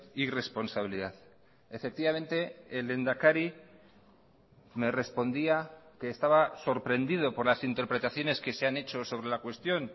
irresponsabilidad efectivamente el lehendakari me respondía que estaba sorprendido por las interpretaciones que se han hecho sobre la cuestión